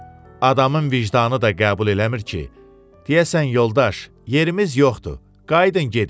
Adamın vicdanı da qəbul eləmir ki, deyəsən: "Yoldaş, yerimiz yoxdur, qayıdın gedin".